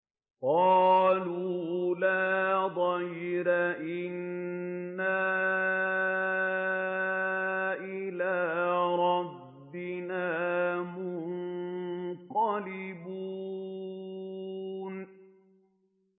قَالُوا لَا ضَيْرَ ۖ إِنَّا إِلَىٰ رَبِّنَا مُنقَلِبُونَ